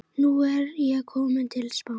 Nú er ég kominn til Spánar.